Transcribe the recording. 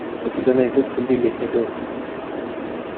у тебя найдется билли эллиот